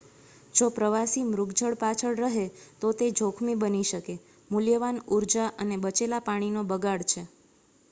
જો પ્રવાસી મૃગજળ પાછળ રહે તો તે જોખમી બની શકે મૂલ્યવાન ઉર્જા અને બચેલા પાણી નો બગાડ છે